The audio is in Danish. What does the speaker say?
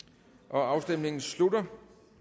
afstemningen slutter